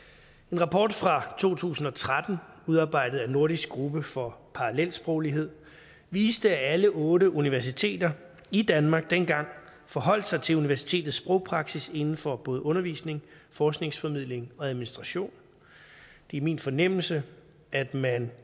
en rapport fra to tusind og tretten udarbejdet af nordisk gruppe for parallelsproglighed viste at alle otte universiteter i danmark dengang forholdt sig til universitetets sprogpraksis inden for både undervisning forskningsformidling og administration det er min fornemmelse at man